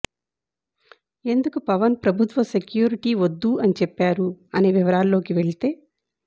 ఎందుకు పవన్ ప్రభుత్వ సెక్యూరిటీ వద్దు అని చెప్పారు అనే వివరాలలోకి వెళ్తే